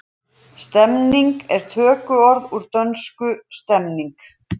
Stemning er tökuorð úr dönsku stemning.